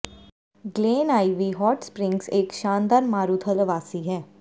Glen Ivy Hot Springs ਇੱਕ ਸ਼ਾਨਦਾਰ ਮਾਰੂਥਲ ਆਵਾਸੀ ਹੈ